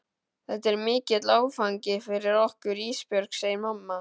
Þetta er mikill áfangi fyrir okkur Ísbjörg, segir mamma.